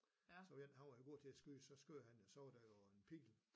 Så var en han var jo god til at skyde så skød han og så var der jo en pil